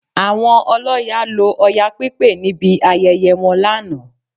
Àwọn ọlọ́ya lo Ọya pípé níbi ayẹyẹ wọn lánàá